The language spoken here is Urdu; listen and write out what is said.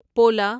پولا